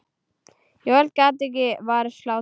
Jóel gat ekki varist hlátri.